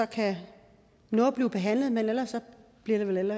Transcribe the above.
kan nå at blive behandlet men ellers bliver det vel